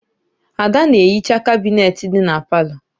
Ada na-ehicha kabinet dị na palọ.